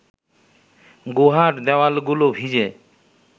গুহার দেওয়ালগুলো ভিজে